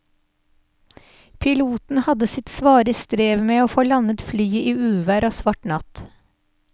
Piloten hadde sitt svare strev med å få landet flyet i uvær og svart natt.